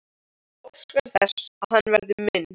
Hún óskar þess að hann verði minn.